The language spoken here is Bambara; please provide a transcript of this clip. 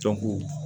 Jɔnko